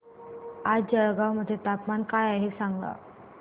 आज जळगाव मध्ये तापमान काय आहे सांगा